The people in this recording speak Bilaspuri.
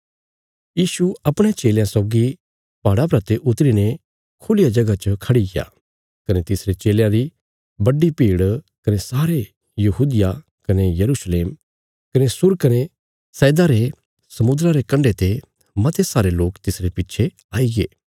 यीशु अपणयां चेलयां सौगी पहाड़ा परा ते उतरी ने खुल्लिया जगह च खड़ीग्या कने तिसरे चेलयां री बड्डी भीड़ कने सारे यहूदिया कने यरूशलेम कने सूर कने सैदा रे समुद्रा रे कण्डे ते मते सारे लोक तिसरे पिच्छे आईगे